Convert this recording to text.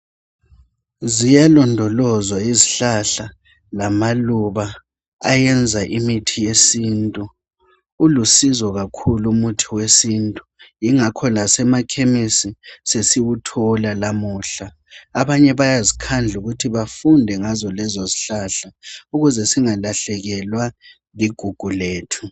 Ziyalondolozwa izihlahla lamaluba ayenza imithi yesintu, ulusizo kakhulu umuthi wesintu yingakho lasemakhemesi sesiwuthola lamuhla. Abanye bayazikhandla ukuthi bafunde ngazo lezo izihlahla, ukuze singalahlekelwa ligugu lethu.